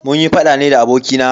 Munyi faɗa ne da abokina.